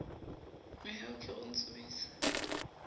mehau ke re o ntsubise